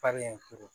Faden ye furu